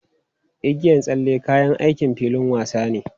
Igiyan tsalle kayan aikin filin wasa ne.